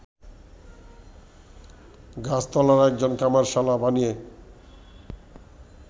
গাছতলায় একজন কামারশালা বানিয়ে